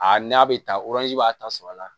A n'a bɛ taa b'a ta sɔgɔ la